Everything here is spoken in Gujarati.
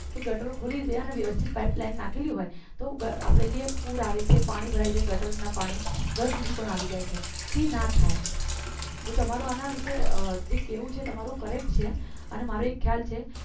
કે ગટર ખુલી ગયા અને વ્યવસ્થિત પાઇપલાઇન નાખેલી હોય તો આપણે જે પુર આવે છે પાણી ભરાય છે ગટરના પાણી ઘર સુધી પણ આવી જાય છે તે ના થાય તો તમારું આના વિશે જે કહેવું છે તમારું correct છે અને મારો એક ખ્યાલ છે